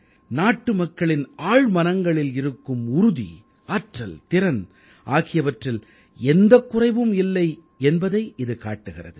நாட்டுமக்களின் ஆழ்மனங்களில் இருக்கும் உறுதி ஆற்றல் திறன் ஆகியவற்றில் எந்தக் குறைவும் இல்லை என்பதை இது காட்டுகிறது